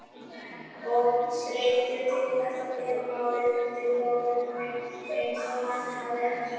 Of þreyttur til þess að bera málin undir Þórunni eins og hann hafði ætlað sér.